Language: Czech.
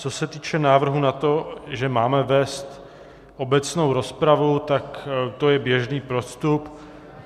Co se týče návrhu na to, že máme vést obecnou rozpravu, tak to je běžný postup.